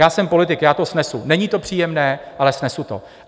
Já jsem politik, já to snesu, není to příjemné, ale snesu to.